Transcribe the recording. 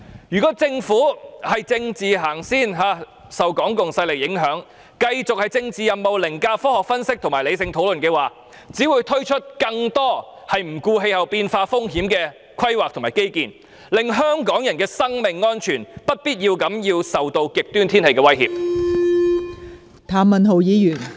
如果政府以政治先行，受港共勢力影響，繼續以政治任務凌駕科學分析及理性討論，則只會推出更多不顧氣候變化風險的規劃及基建，令香港人的生命安全遭受不必要的極端天氣威脅。